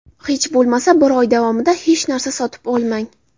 Hech bo‘lmasa bir oy davomida hech narsa sotib olmang.